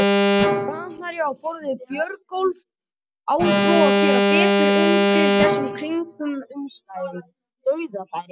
Framherji á borð við Björgólf á þó að gera betur undir þessum kringumstæðum, dauðafæri!